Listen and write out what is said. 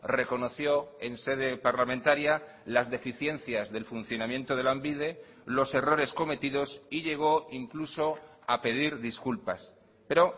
reconoció en sede parlamentaria las deficiencias del funcionamiento de lanbide los errores cometidos y llegó incluso a pedir disculpas pero